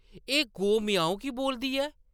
एह्‌‌ गौ “म्याऊं” की बोलदी ऐ ?